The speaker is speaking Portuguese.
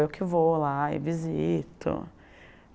Eu que vou lá e visito.